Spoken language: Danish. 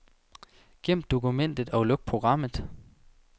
Gem dokumentet og luk programmet.